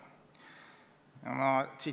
Kevadest on aga vahepeal saanud suvi.